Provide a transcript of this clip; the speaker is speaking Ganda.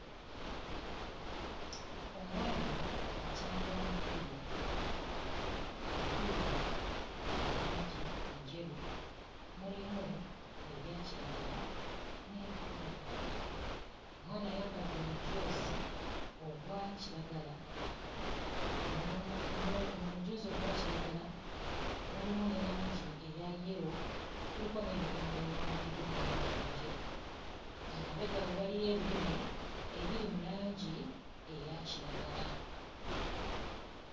Omwana acanga omupiira, omupiira gwa langi njeru, mulimu ebya kiragala n'ebiddugavuddugavu. Omwana ayambadde omujoozi ogwa kiragala n'omu no... omujoozi ogwa kiragala, gulimu ne langi eya yero, kuliko n'ebigambo ebiwandiikiddwa mu langi enjeru, emabega we waliyo ebirime ebiri mu langi eya kiragala.